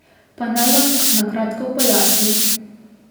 Pa naj vam na kratko pojasnim.